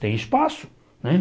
Tem espaço, né?